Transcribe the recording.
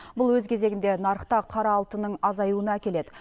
бұл өз кезегінде нарықта қара алтынның азаюуына әкеледі